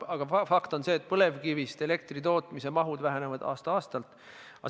Aga fakt on see, et põlevkivist elektri tootmise mahud vähenevad aasta-aastalt.